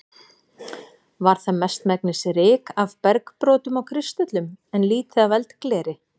Var það mestmegnis ryk af bergbrotum og kristöllum, en lítið af eldgleri.